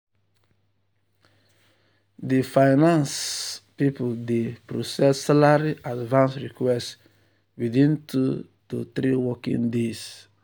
di finance di finance people dey process salary advance request within 2 to 3 working days.